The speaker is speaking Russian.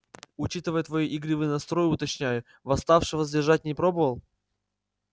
учитывая твой игривый настрой уточняю восставшего задержать не пробовал